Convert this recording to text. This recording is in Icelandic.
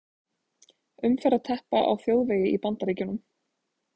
Umferðarteppa á þjóðvegi í Bandaríkjunum.